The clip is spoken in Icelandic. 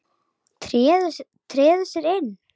Treður sér inn.